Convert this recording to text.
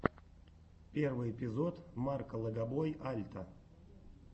первый эпизод марка легобой альта